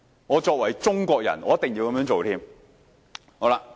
我作為中國人，我一定要這樣做。